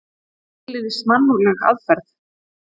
Ekki beinlínis mannúðleg aðferð!